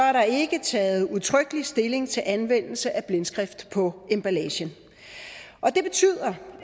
er der ikke taget udtrykkelig stilling til anvendelse af blindskrift på emballagen det betyder